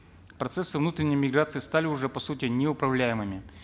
процессы внутренней миграции стали уже по сути неуправляемыми